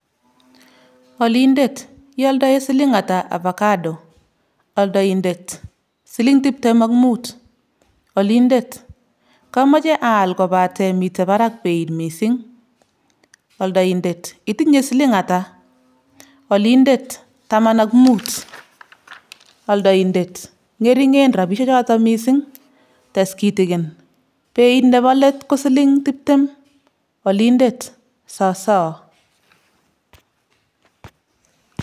Kaigai ngal kou oldoindet ak alindet nesome kechuchuch alietab avacado eng soket?